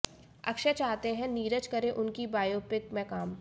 अक्षय चाहते हैं नीरज करे उनकी बायोपिक में काम